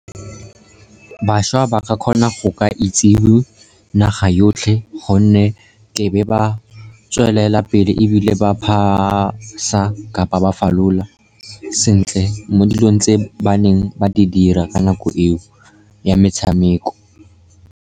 Bašwa ba ka kgona go ka itsiwe naga yotlhe, gonne ke be ba tswelela pele, ebile ba pass-a kapa ba falola sentle mo dilong tse ba neng ba di dira ka nako eo ya metshameko.